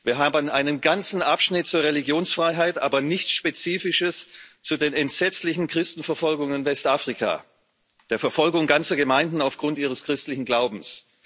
Wir haben einen ganzen Abschnitt zur Religionsfreiheit, aber nichts Spezifisches zu den entsetzlichen Christenverfolgungen in Westafrika, der Verfolgung ganzer Gemeinden aufgrund ihres christlichen Glaubens.